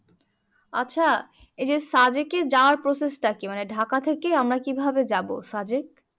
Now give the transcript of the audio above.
আচ্ছা এই যে সাদেকে যাওয়ার process টা কি? মানে ঢাকা থেকে আমরা কিভাবে যাব সাদেক